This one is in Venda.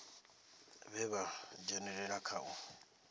vhe vha dzhenelela kha u